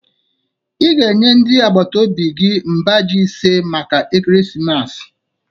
Ị ga-enye ndị agbata obi gị mba ji ise maka ekeresimesi